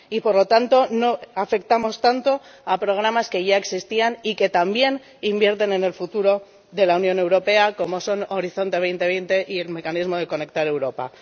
Y, por lo tanto, no afectamos tanto a programas que ya existían y que también invierten en el futuro de la Unión Europea, como son Horizonte 2020 y el Mecanismo Conectar Europa.